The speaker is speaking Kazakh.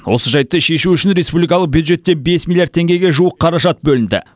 осы жайтты шешу үшін республикалық бюджеттен бес миллиард теңгеге жуық қаражат бөлінді